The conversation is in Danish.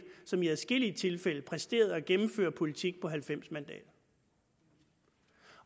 i adskillige tilfælde præsterede at gennemføre politik på halvfems mandater